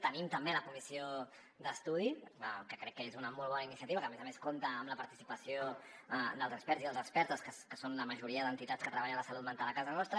tenim també la comissió d’estudi que crec que és una molt bona iniciativa que a més a més compta amb la participació dels experts i de les expertes que són la majoria d’entitats que treballen la salut mental a casa nostra